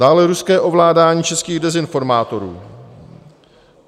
Dále ruské ovládání českých dezinformátorů.